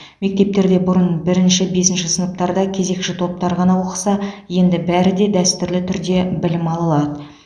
мектептерде бұрын бірінші бесінші сыныптарда кезекші топтар ғана оқыса енді бәрі де дәстүрлі түрде білім ала алады